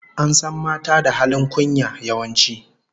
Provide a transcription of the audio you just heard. An san mata da halin kunya, yawanci